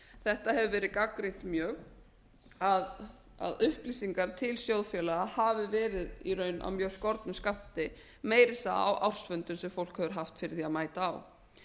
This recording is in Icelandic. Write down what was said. þetta hefur verið gagnrýnt mjög að upplýsingar til sjóðfélaga hafi verið í raun af mjög skornum skammti meira að segja á ársfundum sem fólk hefur haft fyrir því að mæta á